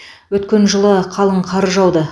өткен жылы қалың қар жауды